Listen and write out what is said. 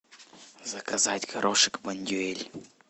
заказать горошек бондюэль